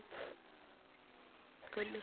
কৈ দিলো।